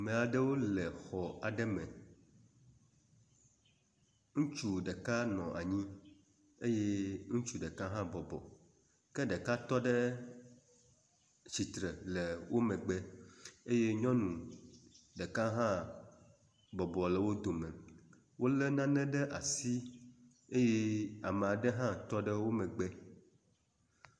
Meaɖewo le xɔ aɖe me ŋutsu ɖeka nɔ anyi eye ŋutsu ɖeka hã bɔbɔ ke ɖeka tɔɖe tsitsre le wó megbe eye nyɔŋu ɖeka hã bɔbɔ le wó dome wóle nane ɖe asi eye ameaɖe hã tɔɖe wómegbe